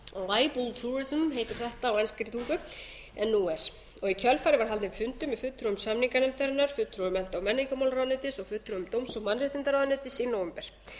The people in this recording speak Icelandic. verr settir vegna meiðyrðamálaflakks og heitir þetta á enskri tungu en nú er í kjölfarið var haldinn fundur með fulltrúum samninganefndarinnar fulltrúum mennta og menningarmálaráðuneytis og fulltrúum dóms og mannréttindaráðuneytis í nóvember